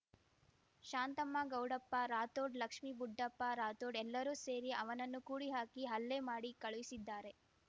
ಶಾಂತಮ್ಮ ಗೌಡಪ್ಪ ರಾಥೋಡ್‌ ಲಕ್ಷ್ಮಿ ಬುಡ್ಡಪ್ಪ ರಾಥೋಡ್‌ ಎಲ್ಲರೂ ಸೇರಿ ಅವನನ್ನು ಕೂಡಿಹಾಕಿ ಹಲ್ಲೆ ಮಾಡಿ ಕಳುಹಿಸಿದ್ದಾರೆ